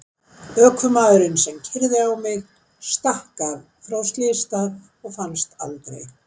Ökumaðurinn sem keyrði á mig stakk af frá slysstað og fannst aldrei.